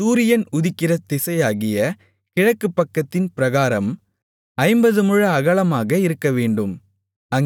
சூரியன் உதிக்கிற திசையாகிய கிழக்குப்பக்கத்தின் பிராகாரம் ஐம்பது முழ அகலமாக இருக்கவேண்டும்